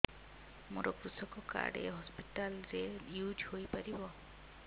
ମୋର କୃଷକ କାର୍ଡ ଏ ହସପିଟାଲ ରେ ୟୁଜ଼ ହୋଇପାରିବ